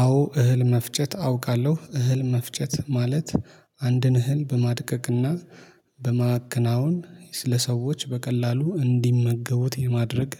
አዎ እህል መፍጨት አውቃለሁ እህል መፍጨት ማለት አንድን እህል በማድቀቅና በማከናወን ለሰዎች በቀላሉ እንዲመገቡት የማድረግ